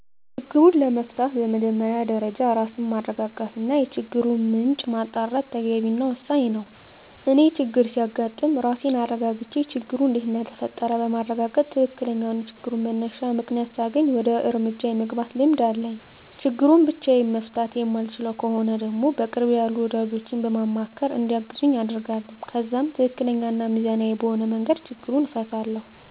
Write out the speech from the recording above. ችግሩን ለመፍታት በመጀመሪያ ደረጃ ራስን ማረጋጋት እና የችግሩን ምንጭ ማጣራት ተገቢ እና ወሳኝ ነው። እኔ ችግር ሲያጋጥም ራሴን አረጋግቼ ችግሩ እንዴት እንደተፈጠረ በማረጋገጥ ትክክለኛውን የችግሩን መነሻ ምክንያት ሳገኝ ወደ እርምጃ የመግባት ልምድ አለኝ። ችግሩን ብቻየን መፍታት የማልችለው ከሆነ ደግሞ በቅርቤ ያሉ ወዳጆቼን በማማካር እንዲያግዙኝ አደርጋለሁ። ከዛም ትክክለኛ እና ሚዛናዊ በሆነ መንገድ ችግሩን እፈታለሁ።